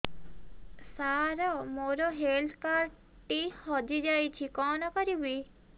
ସାର ମୋର health card ଟି ହଜି ଯାଇଛି କଣ କରିବି